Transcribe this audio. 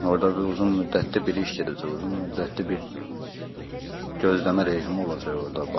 Orda bir uzun müddətli bir iş gedəcək, uzun müddətli bir gözləmə rejimi olacaq orda.